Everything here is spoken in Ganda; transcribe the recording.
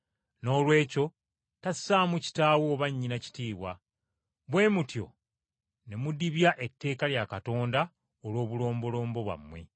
Noolwekyo tassaamu kitaawe oba nnyina kitiibwa. Bwe mutyo ne mudibya etteeka lya Katonda olw’obulombolombo bwammwe.